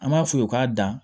An b'a f'u ye u k'a dan